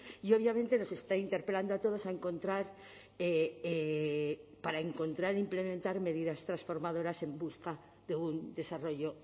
y obviamente nos está interpelando a todos a encontrar para encontrar implementar medidas transformadoras en busca de un desarrollo